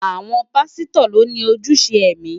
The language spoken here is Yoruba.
Àwọn pásítọ̀ lo ni ojúṣe ẹ̀mí.